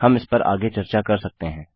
हम इस पर आगे चर्चा कर सकते हैं